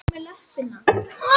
Lækjarbrekku